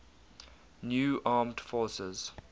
new armed forces